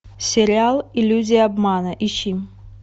сериал иллюзия обмана ищи